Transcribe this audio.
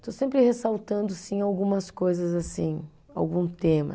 Estou sempre ressaltando, sim, algumas coisas assim, algum tema.